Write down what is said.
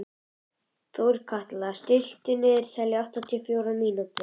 Þorkatla, stilltu niðurteljara á áttatíu og fjórar mínútur.